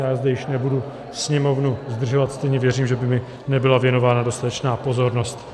Já zde již nebudu sněmovnu zdržovat, stejně věřím, že by mi nebyla věnována dostatečná pozornost.